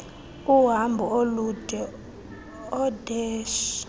uhambo olude oodeshy